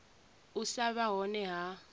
u sa vha hone ha